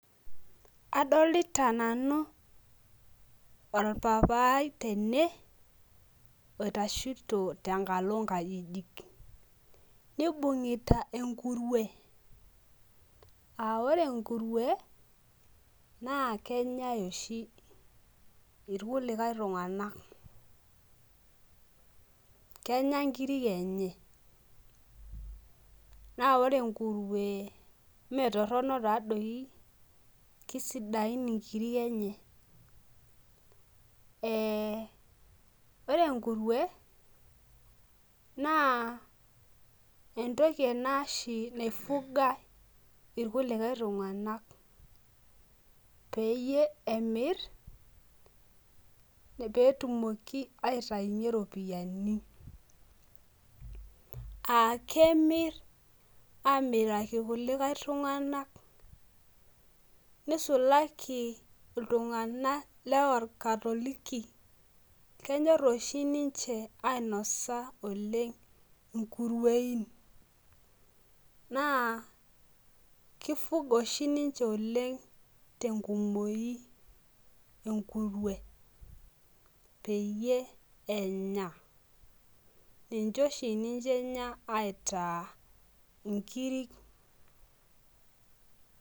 adolita nanu olpapaai tene oitashito tengalo inkajijik, nibung'ita engurwe aa ore engurwe naa kenyae oshi ilkulikae tung'anak kenya inkirik enye naa, ore engurwe imetorono taaa doi kisidai inkirik enye aa ore engurwe naa entoki ena oshi naifugha ilkulikai tung'anak, peyie emir pee etumoki aitayunyie iropiyiani, aa kemir pee etum iropiyiani, nisulaki iltung'anak loo ilkatoliki kenyor oshi niche ainosa inkurwein naa kifugha oshi niche tenkumoi enkurwe peyie enya niche oshi niche enya aitaa inkiri.